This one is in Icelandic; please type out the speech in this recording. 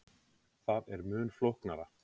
Það er mun flóknara.